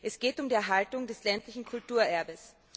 Es geht um die Erhaltung des ländlichen Kulturerbes.